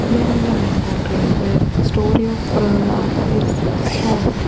There is a mango tree where story of Prahlad is shown.